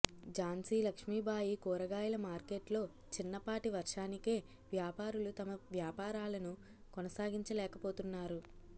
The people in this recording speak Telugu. ఝాన్సీలక్ష్మీబాయి కూరగాయల మార్కెట్లో చిన్నపాటి వర్షానికే వ్యాపారులు తమ వ్యాపారాలను కొనసాగించలేకపోతున్నారు